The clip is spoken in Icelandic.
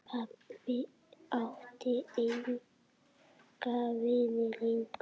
Pabbi átti enga vini lengur.